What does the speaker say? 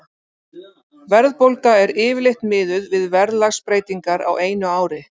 Verðbólga er yfirleitt miðuð við verðlagsbreytingar á einu ári.